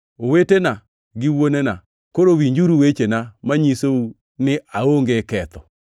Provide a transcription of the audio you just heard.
“Owetena gi wuonena, koro winjuru wechena manyisou ni aonge ketho.”